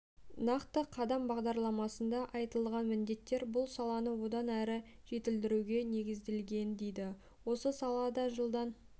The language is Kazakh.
нақты қадам бағдарламасында айтылған міндеттер бұл саланы одан әрі жетілдіруге негізделген дейді осы салада жылдан